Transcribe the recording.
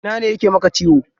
Ina ne yake maka ciwo?